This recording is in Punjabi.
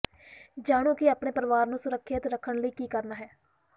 ਜਾਣੋ ਕਿ ਆਪਣੇ ਪਰਿਵਾਰ ਨੂੰ ਸੁਰੱਖਿਅਤ ਰੱਖਣ ਲਈ ਕੀ ਕਰਨਾ ਹੈ